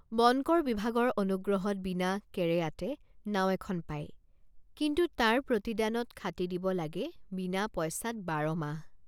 বনকৰ বিভাগৰ অনুগ্ৰহত বিনা কেৰেয়াতে নাও এখন পায় কিন্তু তাৰ প্ৰতিদানত খাটি দিব লাগে বিনা পইচাত বাৰমাহ।